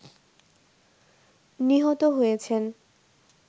নিহত হয়েছেন